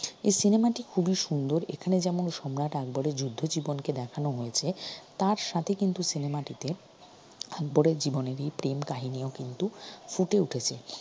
এই cinema টি খুবই সুন্দর এখানে যেমন সম্রাট আকবরের যুদ্ধ জীবনকে দেখানো হয়েছে তার সাথে কিন্তু cinema টিতে আকবরের জীবনের এই প্রেম কাহিনীও কিন্তু ফুটে উঠেছে